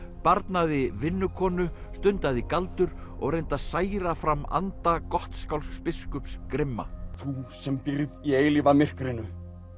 barnaði vinnukonu stundaði galdur og reyndi að særa fram anda Gottskálks biskups grimma þú sem býrð í eilífa myrkrinu